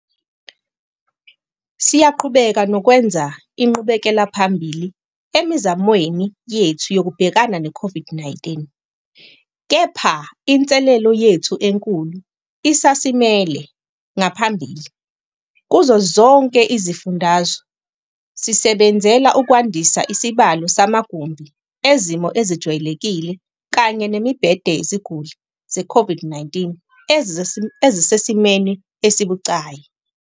Siyaqhubeka nokwenza inqubekelaphambili emizamweni yethu yokubhekana ne-COVID-19, kepha inselele yethu enkulu isasimele ngaphambili. Kuzo zonke izifundazwe, sisebenzela ukwandisa isibalo samagumbi ezimo ezijwayelekile kanye nemibhede yeziguli ze-COVID-19 ezisesimweni esibucayi.